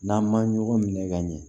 N'an ma ɲɔgɔn minɛ ka ɲɛ